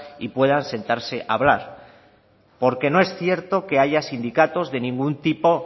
y puedan sentarse a hablar porque no es cierto que haya sindicatos de ningún tipo